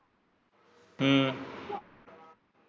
ਹਮ